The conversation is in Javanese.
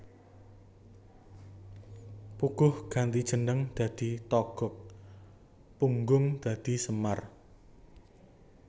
Puguh ganti jeneng dadi Togog Punggung dadi Semar